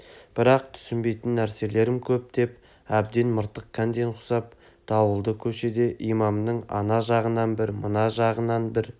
бірақ түсінбейтін нәрселерім көп деп әбден мыртық кәнден құсап дауылды көшеде имамның ана жағынан бір мына жағынан бір